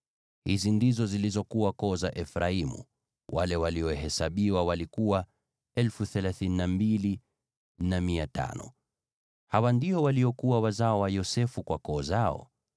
Hizi ndizo zilizokuwa koo za Efraimu; wale waliohesabiwa walikuwa 32,500. Hawa ndio waliokuwa wazao wa Yosefu kwa koo zao.